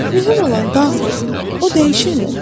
Mühüm olan dağdır, o dəyişmir.